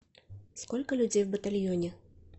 сколько людей в батальоне